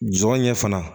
Jɔn ɲɛ fana